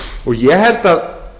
ég held að